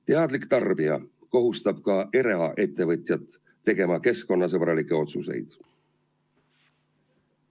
Teadlik tarbija kohustab ka eraettevõtjat tegema keskkonnasõbralikke otsuseid.